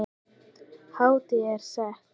Hátíðin er sett.